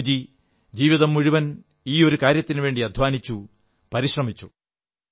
ബാപ്പുജി ജീവിതം മുഴുവൻ ഈ ഒരൂ കാര്യത്തിനുവേണ്ടി അധ്വാനിച്ചു പരിശ്രമിച്ചു